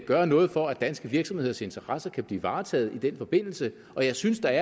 gøre noget for at danske virksomheders interesser kan blive varetaget i den forbindelse jeg synes der